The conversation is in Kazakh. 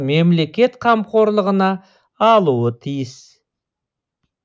мемлекет қамқорлығына алуы тиіс